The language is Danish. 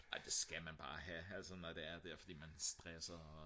ej det skal man bare have altså når det er for man stresser og